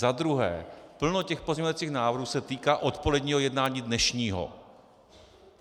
Za druhé, plno těch pozměňovacích návrhů se týká odpoledního jednání dnešního.